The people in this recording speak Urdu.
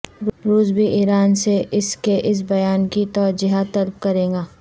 روس بھی ایران سے اس کے اس بیان کی توجیہہ طلب کرے گا